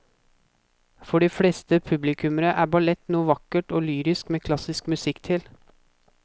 For de fleste publikummere er ballett noe vakkert og lyrisk med klassisk musikk til.